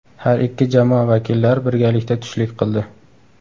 Har ikki jamoa vakillari birgalikda tushlik qildi.